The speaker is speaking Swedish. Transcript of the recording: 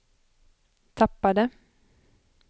tappade